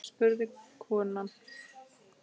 spurði konan.